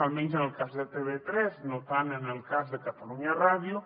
almenys en el cas de tv3 no tant en el cas de catalunya ràdio